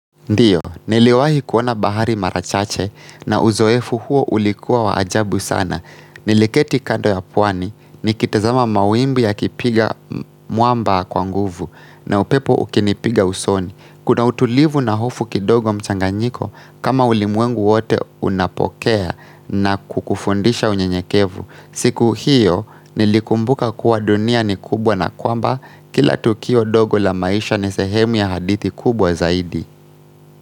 Ndiyo, niliwahi kuona bahari mara chache na uzoefu huo ulikuwa wa ajabu sana. Niliketi kando ya pwani, nikitazama mawimbi yakipiga mwamba kwa nguvu na upepo ukinipiga usoni. Kuna utulivu na hofu kidogo mchanganyiko kama ulimwengu wote unapokea na kukufundisha unyenyekevu. Siku hiyo, nilikumbuka kuwa dunia ni kubwa na kwamba kila tukio dogo la maisha ni sehemu ya hadithi kubwa zaidi.